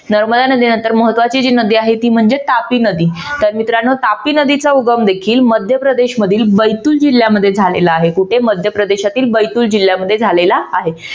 नर्मदा नदीनंतर महत्वाची जी नदी आहे ती म्हणजे तापी नदी तर मित्रांनो तापी नदीचा उगम देखील मध्यप्रदेश मधील बैथुर जिल्ह्यामध्ये झालेला आहे. कुठे? मध्यप्रदेशातील बैथुर जिल्ह्यामध्ये झालेला आहे.